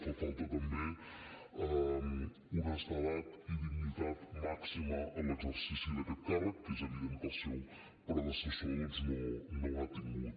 fa falta també honestedat i dignitat màxima en l’exercici d’aquest càrrec que és evident que el seu predecessor doncs no ha tingut